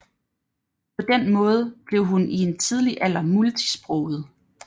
På den måde blev hun i en tidlig alder multisproget